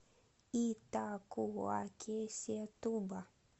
итакуакесетуба